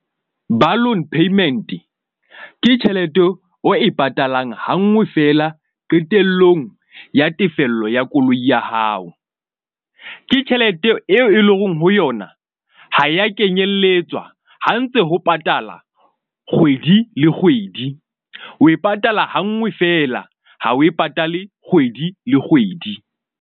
Balloon payment ke tjhelete o e patalang hangwe fela qetellong ya tefello ya koloi ya hao. Ke tjhelete eo e leng hore ho yona ha ya kenyelletswa ha ntse ho patala kgwedi le kgwedi, o e patala ha nngwe fela ha o e patale kgwedi le kgwedi.